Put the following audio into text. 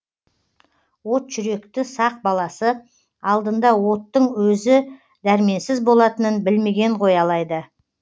от жүректі сақ баласы алдында оттың өзі дәрменсіз болатынын білмеген ғой алайда